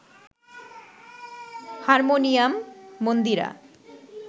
harmonium, Mandira